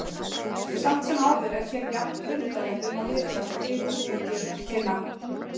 Samt sem áður er hér jafn kuldalegt um að litast og hitastigið gefur til kynna.